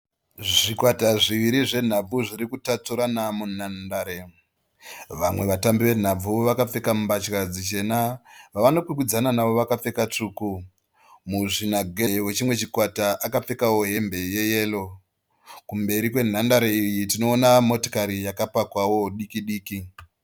Zvikwata zviviri zvenhabvu zviri kutatsurana munhandare. Vamwe vatambi venhabvu vakapfeka mbatya dzichena. Vavanokwikwidzana navo vakapfeka tsvuku. Muzvinagedhe wechimwe chikwata akapfekawo hembe yeyero. Kumberi kwenhandare iyi tinoona motokari yakapakwawo diki diki.